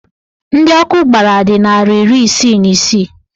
Ndị ọkụ gbara dị narị iri isii na isii